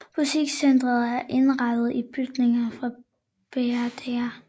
Butikscenteret er indrettet i bygningerne fra Brdr